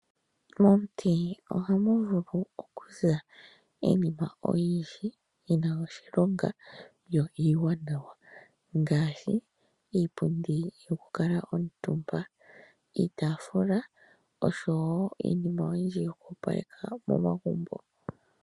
Momuti ohamu vulu okuza iinima oyindji yina oshilonga yo iiwanawa ngaashi iipundi yokukala omutumba, iitafula oshowo iinima oyindji yoku opaleka momagumbo.